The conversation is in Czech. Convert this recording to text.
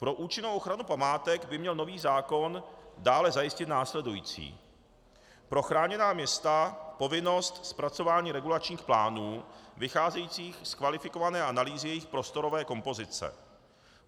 Pro účinnou ochranu památek by měl nový zákon dále zajistit následující: pro chráněná města povinnost zpracování regulačních plánů vycházejících z kvalifikované analýzy jejich prostorové kompozice;